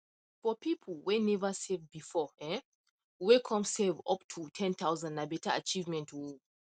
for people whey never save before um whey come save up to ten thousand na better achievement oh